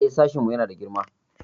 Eh, sashinmu yana da girma.